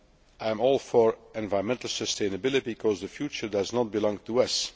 I am all for environmental sustainability because the future does not belong to us.